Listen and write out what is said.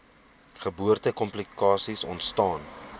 geboorte komplikasies ontstaan